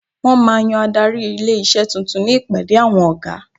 Wọ́n máa yan adarí ilé-iṣé tuntun ní ìpàdé awọn ọ̀gá.